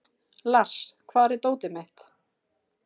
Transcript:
Lars, hvar er dótið mitt?